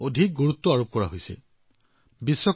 আমি দক্ষতাক সন্মান কৰিব লাগিব দক্ষ হবলৈ কঠোৰ পৰিশ্ৰম কৰিব লাগিব